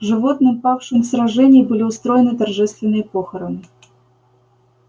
животным павшим в сражении были устроены торжественные похороны